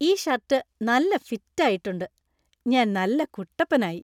ഈ ഷർട്ട് നല്ല ഫിറ്റ് ആയിട്ടുണ്ട്. ഞാന്‍ നല്ല കുട്ടപ്പനായി.